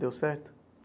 Deu certo?